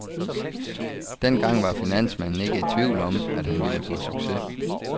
Dengang var finansmanden ikke i tvivl om, at han ville få succes.